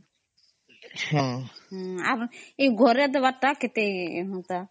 ଅମ୍